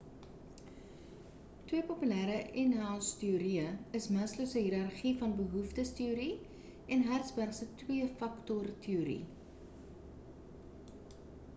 twee populêre inhousteorieë is maslow se hiërargie van behoeftes teorie en hertzberg se twee faktor teorie